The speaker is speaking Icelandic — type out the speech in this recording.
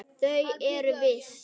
Þau eru þessi: